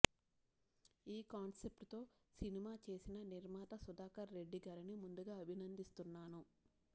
ఈ కాన్సెప్ట్తో సినిమా చేసిన నిర్మాత సుధాకర్ రెడ్డిగారిని ముందుగా అభినందిస్తున్నాను